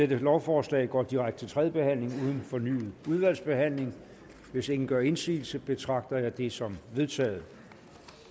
lovforslaget går direkte til tredje behandling uden fornyet udvalgsbehandling hvis ingen gør indsigelse betragter det som vedtaget